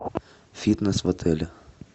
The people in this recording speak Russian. фитнес в отеле